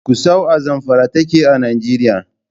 Gusau a Zamfara take a Nijeriya.